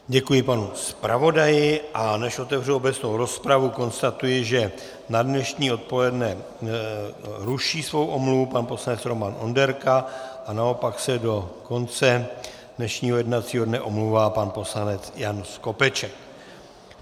Děkuji panu zpravodaji, a než otevřu obecnou rozpravu, konstatuji, že na dnešní odpoledne ruší svou omluvu pan poslanec Roman Onderka a naopak se do konce dnešního jednacího dne omlouvá pan poslanec Jan Skopeček.